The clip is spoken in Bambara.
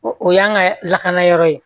O o y'an ka lakana yɔrɔ ye